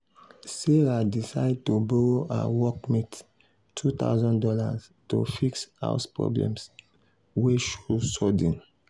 sarah decide to borrow her workmate twenty thousand dollars to fix house problem wey show sudden